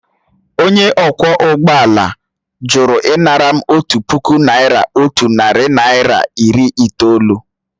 Onye ọkwọ ụgbọ ala jụrụ ịnara m otu puku naịra otu narị naịra iri itoolu